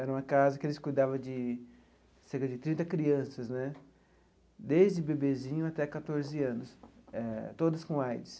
Era uma casa que eles cuidavam de cerca de trinta crianças né, desde bebezinho até quatorze anos, eh todos com AIDS.